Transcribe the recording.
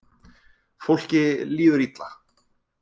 Fólki líður illa